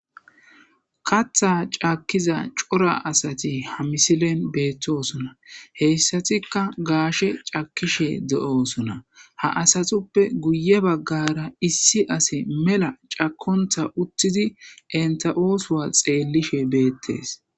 katha caakkiza cora asati ha misilen beettosuna heyssatikka gaashe cakishe de7osuna ha asatuppe guye baggara issi ase mela cakontha uttidi enta7oosuwa xeellishe beettes